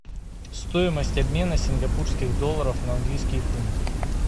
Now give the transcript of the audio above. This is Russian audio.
стоимость обмена сингапурских долларов на английские фунты